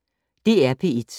DR P1